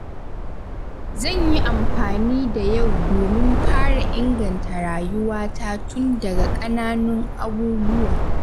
Zan yi amfani da yau domin fara inganta rayuwata tun daga ƙananun abubuwa.